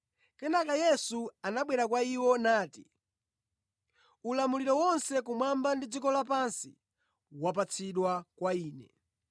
Kenaka Yesu anabwera kwa iwo nati, “Ulamuliro wonse kumwamba ndi dziko lapansi wapatsidwa kwa Ine.